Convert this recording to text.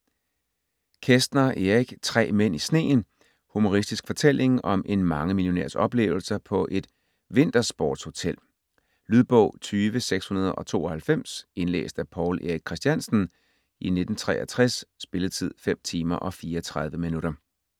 Kästner, Erich: Tre mænd i sneen Humoristisk fortælling om en mangemillionærs oplevelser på et vintersportshotel. Lydbog 20692 Indlæst af Paul Erik Christiansen, 1963. Spilletid: 5 timer, 34 minutter.